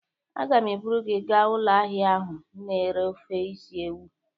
Agam eburu gi gaa ulo ahia ahu na ere ofe isi ewu